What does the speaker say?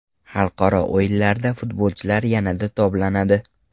Xalqaro o‘yinlarda futbolchilar yanada toblanadi.